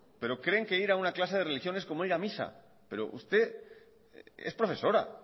pero creen que ir a una clase de religión es como ir a misa pero usted es profesora